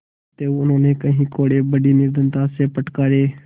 अतएव उन्होंने कई कोडे़ बड़ी निर्दयता से फटकारे